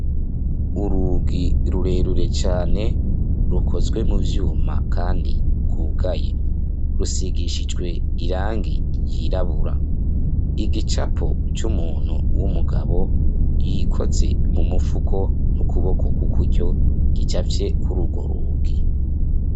Urugi rurerure cane rukozwe mu vyuma kandi rwugaye. Rusigishijwe irangi ryirabura. Igicapo c'umuntu w'umugabo yikoze mu mufuko mu kuboko k'ukuryo gicafye kuri urwo rugi.